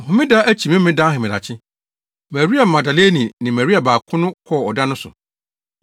Homeda no akyi Memeneda ahemadakye, Maria Magdalene ne Maria baako no kɔɔ ɔda no so.